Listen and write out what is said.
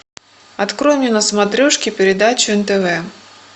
открой мне на смотрешке передачу нтв